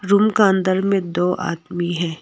Room का अंदर में दो आदमी है।